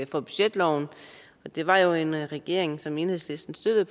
for budgetloven det var jo en regering som enhedslisten støttede